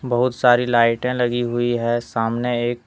बहुत सारी लाइटें लगी हुई है सामने एक--